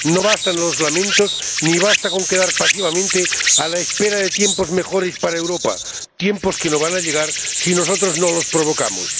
No bastan los lamentos, ni basta con quedar pasivamente a la espera de tiempos mejores para Europa, tiempos que no van a llegar si nosotros no los provocamos.